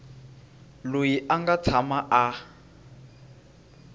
loyi a nga tshama a